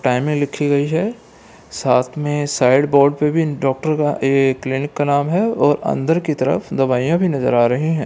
Timing लिखी गई है साथ में साइड‌‌‌‌‌‌ बोर्ड पे भी डॉक्टर का ए क्लिनिक का नाम है और अंदर की तरफ दवाइयाँ भी नजर आ रही है।